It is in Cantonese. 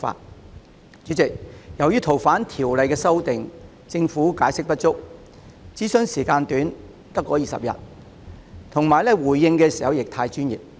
代理主席，在《逃犯條例》的修訂上，政府解釋不足，諮詢時間只有短短20天，回應時亦過於專業。